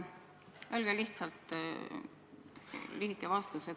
Öelge lihtsalt lühike vastus.